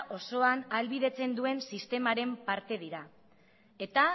osoan ahalbidetzen duen sistemaren parte dira eta